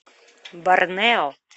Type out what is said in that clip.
барнео